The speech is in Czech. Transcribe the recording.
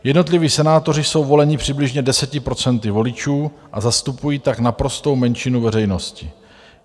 Jednotliví senátoři jsou voleni přibližně 10 % voličů a zastupují tak naprostou menšinu veřejnosti.